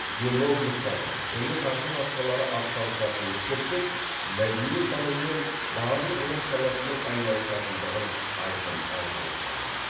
демографтардың және тағы басқалары ат салысатынын ескерсек мәдениеттанумен барлық ғылым саласының айналысатындығын айқын аңғаруға болады